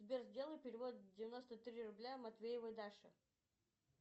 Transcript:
сбер сделай перевод девяносто три рубля матвеевой даше